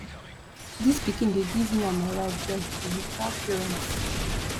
dis pikin dey give me and my wife joy we be proud parents